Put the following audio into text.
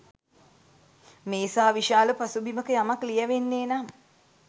මේ සා විශාල පසුබිමක යමක් ලියැවෙන්නේ නම්